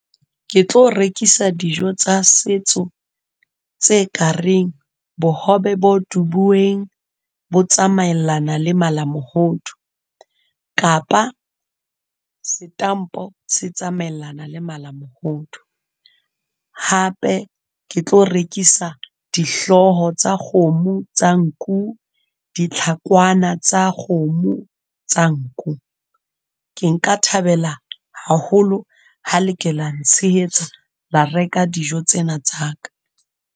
Ke tlo rekisa dijo tsa setso, tse kareng bohobe bo dubuweng, bo tsamaellana le mala mohodu, kapa setampo se tsamaeana le mala mohodu. Hape ke tlo rekisa dihloho tsa kgomo, tsa nku, ditlhakwana tsa kgomo, tsa nku. Ke nka thabela haholo ha le ke la ntshehetsa, la reka dijo tsena tsa ka.